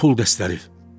Pul dəstəri.